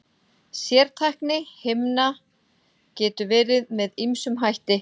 Sértækni himna getur verið með ýmsum hætti.